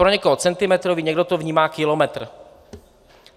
Pro někoho centimetrový, někdo to vnímá kilometr.